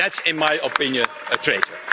That's, in my opinion, a traitor.